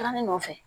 Taara ne nɔfɛ